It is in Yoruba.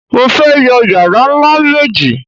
Mo fẹ́ yọ yàrá ńlá méjì